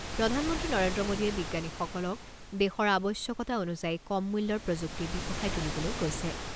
প্ৰধান মন্ত্ৰী নৰেন্দ্ৰ মোডীয়ে বিজ্ঞানীসকলক দেশৰ আৱশ্যকতা অনুযায়ী কম মূল্যৰ প্ৰযুক্তি বিকশাই তুলিবলৈ কৈছে।